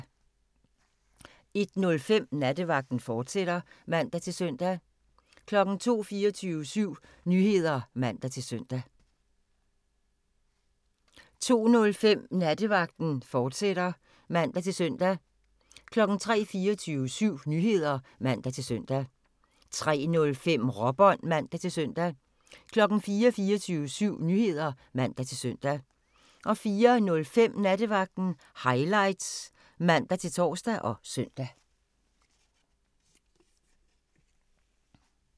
01:05: Nattevagten, fortsat (man-søn) 02:00: 24syv Nyheder (man-søn) 02:05: Nattevagten, fortsat (man-søn) 03:00: 24syv Nyheder (man-søn) 03:05: Råbånd (man-søn) 04:00: 24syv Nyheder (man-søn) 04:05: Nattevagten Highlights (man-tor og søn)